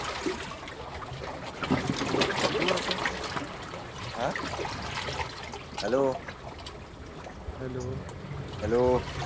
बघू आता. हा. हेलो. Hello hello